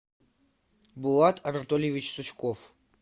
булат анатольевич сучков